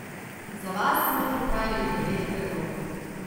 Za vas smo pripravili devet predlogov.